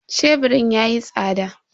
Sheburin yayi tsada.